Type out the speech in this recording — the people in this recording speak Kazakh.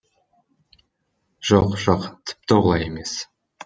жоқ жоқ тіпті олай емес